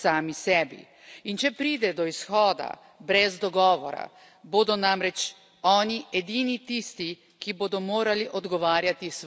In če pride do izhoda brez dogovora, bodo namreč oni edini tisti, ki bodo morali odgovarjati svojim državljanom.